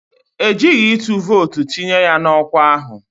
E jighi ịtụ vootu tinye ya n'ọkwa ahụ